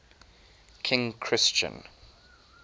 king christian